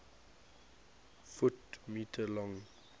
ft m long